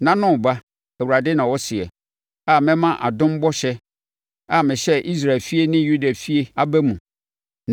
“ ‘Nna no reba,’ Awurade na ɔseɛ, a mɛma adom bɔhyɛ a mehyɛɛ Israel efie ne Yudafie aba mu.